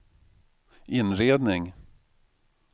inredning